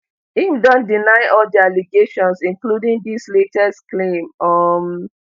im don deny all di allegations including dis latest claim um